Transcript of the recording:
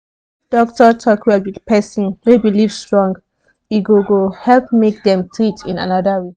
if doctor talk well with person wey believe strong e go go help make dem treat in another way